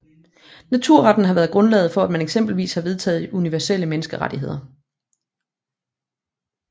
Naturretten har været grundlaget for at man eksempelvis har vedtaget universelle menneskerettigheder